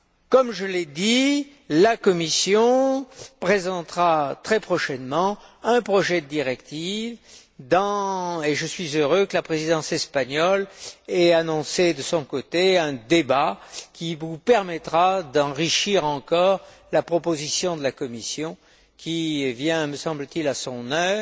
Comme je l'ai dit, la Commission présentera très prochainement un projet de directive, et je suis heureux que la Présidence espagnole ait annoncé, de son côté, un débat qui vous permettra d'enrichir encore la proposition de la Commission qui vient, me semble t il, à son